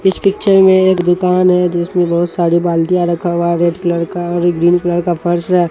इस पिक्चर में एक दुकान है जिसमें बहुत सारी बाल्टियाँ रखा हुआ है रेड कलर का और एक ग्रीन कलर का फ़र्श है।